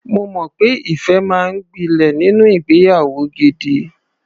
Mo mọ̀ pé ìfẹ́ máa ń gbilẹ̀ nínú ìgbeyàwó gidi.